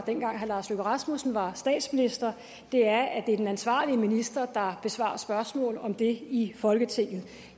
dengang herre lars løkke rasmussen var statsminister er at det er den ansvarlige minister der besvarer spørgsmål om det i folketinget